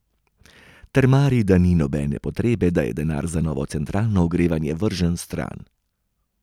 Trmari, da ni nobene potrebe, da je denar za novo centralno ogrevanje vržen stran.